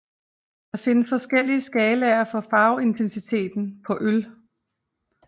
Der findes forskellige skalaer for farveintensiteten på øl